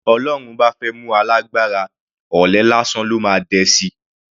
Bí Ọlọ́run bá fẹ́ mú alágbára, ọ̀lẹ lásán ló máa dẹ sí i.